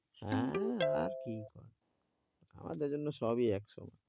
হ্যাঁ আর কি আমাদের জন্য সবই এক সমান ।